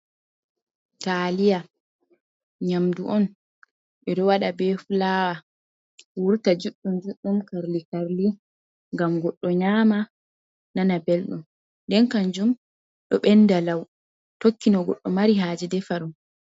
Taliya nyamdu on ɓe ɗo waɗa be filawa, wurta juɗɗum juɗɗum Karli Karli, gam goɗɗo nyama nana belɗum, nden kanjum ɗo ɓenda lau, tokkino no goɗɗo mari haje defa ɗum.